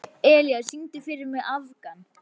Elía, syngdu fyrir mig „Afgan“.